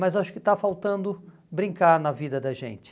Mas acho que está faltando brincar na vida da gente.